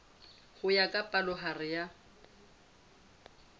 ho ya ka palohare ya